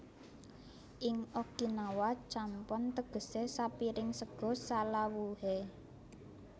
Ing Okinawa champon tegese sapiring sega salawuhe